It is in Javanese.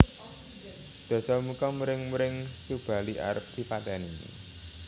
Dasamuka muring muring Subali arep dipateni